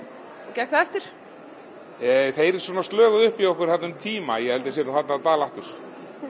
gekk það eftir þeir svona upp í okkur þarna um tíma ég held að þeir séu farnir að dala aftur